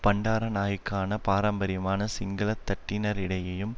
பண்டாரநாயக்கான பாரம்பரியமான சிங்கள தட்டினரிடையேயும்